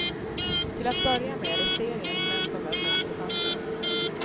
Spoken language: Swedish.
Till att börja med är det seriens män som verkar intressantast.